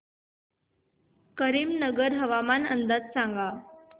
करीमनगर हवामान अंदाज सांग